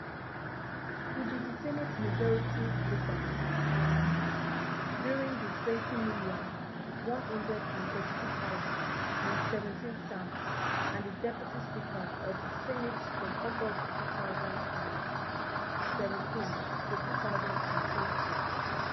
e be di senate majority leader um during di twenty million, one hundred and thirty-two thousand and seventeen term and di deputy speaker of di senate from august two thousand and seventeen to two thousand and twenty